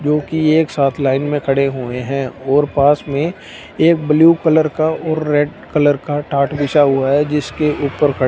जोकि एक साथ लाइन में खड़े हुए हैं और पास में एक ब्लू कलर का और रेड कलर का टाट बिछा हुआ है जिसके ऊपर खड़--